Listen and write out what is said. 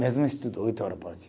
Mesmo estudo, oito hora por dia.